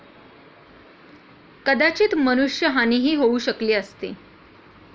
कदाचित मनुष्य हानीही होऊ शकली असती.